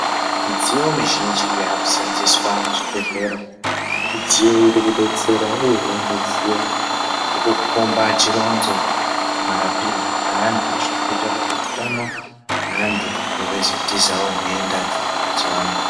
Midziyo mizhinji yakuseenzeswa muzvibhedhlera midziyo irikudetsera uye midziyo irikukhomba chironzo marapirwo eantu zvirikuita kuti utano weantu veizotizawo nhenda dziriyo mazuvaano.